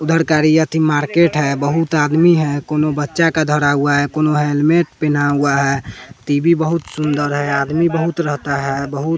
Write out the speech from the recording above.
उधरकारी अथी मार्केट है बहुत आदमी है कोनो बच्चा का धरा हुआ है कोनो हेलमेट पेना हुआ है टी_वी बहुत सुंदर है आदमी बहुत रहता है बहुत --